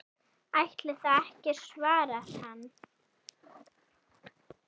Ætli það ekki svarar hann.